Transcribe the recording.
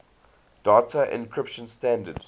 data encryption standard